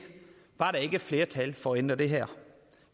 ikke var flertal for at ændre det her